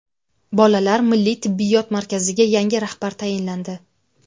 Bolalar milliy tibbiyot markaziga yangi rahbar tayinlandi.